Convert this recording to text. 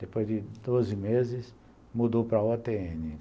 Depois de doze meses, mudou para a o tê ene